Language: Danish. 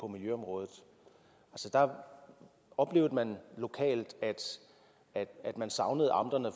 miljøområdet der oplevede man lokalt at savne amterne